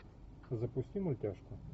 запусти мультяшку